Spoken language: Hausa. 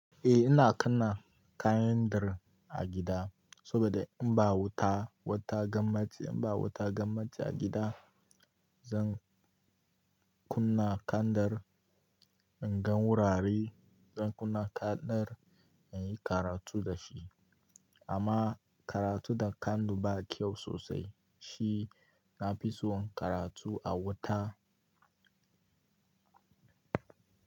Eh ina kunna kandir a gida saboda in ba wuta, wata gamace in ba wuta gamace a gida, zan kunna kandir in gan wurare, zan kunna kandir in yi karatu da shi. Amma karatu da kandu ba kyau sosai shi. Na fi so karatu a wuta.